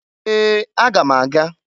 Ee! Aga m aga.